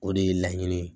O de ye laɲini ye